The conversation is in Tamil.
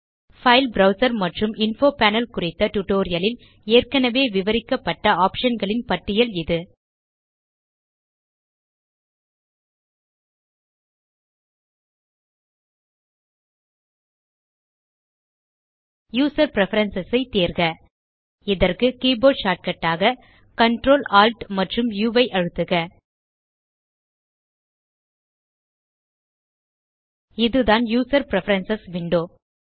பைல் ப்ரவ்சர் மற்றும் இன்ஃபோ பேனல் குறித்த டியூட்டோரியல் லில் ஏற்கனவே விவரிக்கப்பட்ட ஆப்ஷன் களின் பட்டியல் இது யூசர் பிரெஃபரன்ஸ் ஐ தேர்க இதற்கு கீபோர்ட் ஷார்ட்கட் ஆக Ctrl Alt ஆம்ப் உ ஐ அழுத்துக இதுதான் யூசர் பிரெஃபரன்ஸ் விண்டோ